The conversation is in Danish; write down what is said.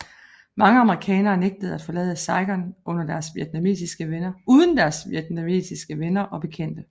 Mange amerikanere nægtede at forlade Saigon uden deres vietnamesiske venner og bekendte